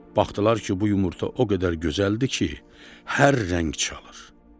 Baxdılar ki, bu yumurta o qədər gözəldir ki, hər rəng çalır.